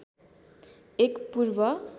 एक पूर्व